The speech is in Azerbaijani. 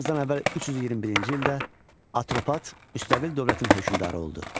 Eramızdan əvvəl 321-ci ildə Atropat müstəqil dövlətin hökmdarı oldu.